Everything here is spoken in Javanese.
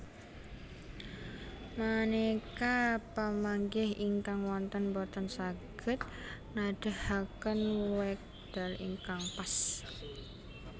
Maneka pamanggih ingkang wonten boten saged nedahaken wekdal ingkang pas